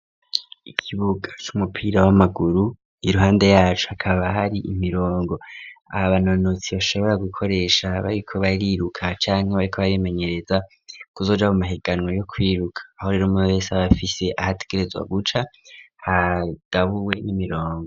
Ikibuga c'umupira w'amaguru iruhande yacu akaba hari imirongo aba nonotsi bashobora gukoresha bariko bariruka canke bariko barimenyereza kuzoja mu mahiganwa yo kwiruka aho rere umwe bose abafise ahategerezwa guca hagabuwe n'imirongo.